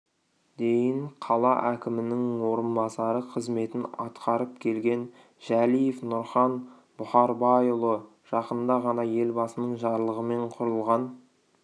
дейін қала әкімінің орынбасары қызметін атқарып келген жәлиев нұрхан бұхарбайұлы жақында ғана елбасының жарлығымен құрылған